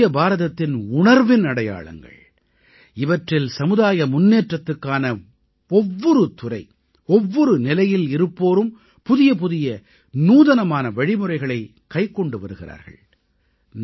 இவை புதிய பாரதத்தின் உணர்வின் அடையாளங்கள் இவற்றில் சமுதாய முன்னேற்றத்துக்கான ஒவ்வொரு துறை ஒவ்வொரு நிலையில் இருப்போரும் புதியபுதிய நூதனமான வழிமுறைகளைக் கைக்கொண்டு வருகிறார்கள்